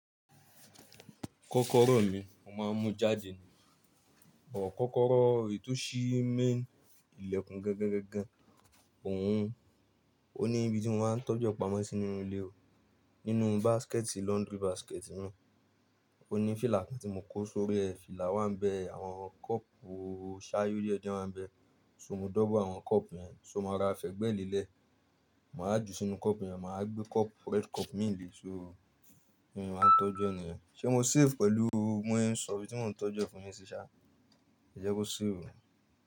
Kọ́kọ́rọ́ mi, mo máa ń mú jáde ni. Ọ̀kọ́kọ́rọ́ èyíí tó si main ilẹ̀kùn gangan gangan, òun ó ní ibi tí mo máa ń tọ́jọ́ pamọ́ sí nínú ilé o. Nínú basket laundry basket mi. Ó ní fìlà kan tí mo kó sórí ẹ, fìlà wa ń bẹ, àwọn cup o ṣáyo díẹ̀ díẹ̀ wáa ń bẹ. So mo double àwọn cup yẹn, so mo rọra fẹ̀gbẹ́ lele, màá jù sínú cup yẹn, màá wa gbé cup red cup mi léè, so, bí mo ṣe máa ń tọ́jú e nìyẹn. Ṣé mo safe pẹ̀lú bí mo ń ṣe sọ ibi tí mò ń tọ́jú ẹ fún yín sì ṣá, ẹ jẹ́ kó safe o.